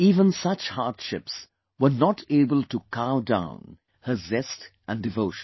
Even such hardships were not able to cow down her zest & devotion